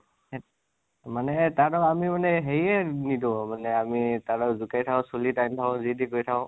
মানে তাহতক আমি মানে হেৰীয়ে নিদো আৰু মানে আমি তহঁতক জোকাই থাকোঁ, চুলি টানি থাকো, যিতি কৰি থাকোঁ।